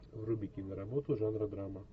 вруби киноработу жанра драма